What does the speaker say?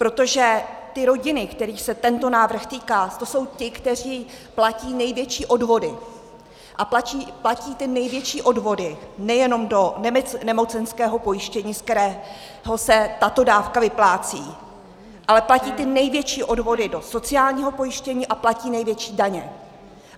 Protože ty rodiny, kterých se tento návrh týká, to jsou ty, které platí největší odvody a platí ty největší odvody nejenom do nemocenského pojištění, z kterého se tato dávka vyplácí, ale platí ty největší odvody do sociálního pojištění a platí největší daně.